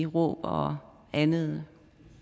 råb og andet